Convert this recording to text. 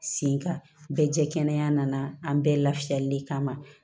Sen kan bɛɛ jɛ kɛnɛ nana an bɛɛ la fiyɛli de kama